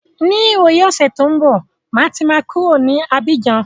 Ní ìwòyí ọ̀sẹ̀ tí ó ń bọ̀, máa ti máa kúrò ní Abíjan.